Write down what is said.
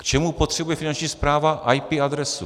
K čemu potřebuje Finanční správa IP adresu?